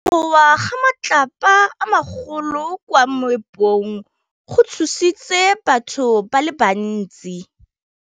Go wa ga matlapa a magolo ko moepong go tshositse batho ba le bantsi.